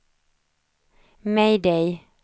mayday